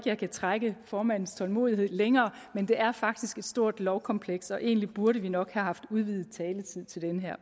jeg kan trække formandens tålmodighed længere men det er faktisk et stort lovkompleks og egentlig burde vi nok have haft udvidet taletid til det her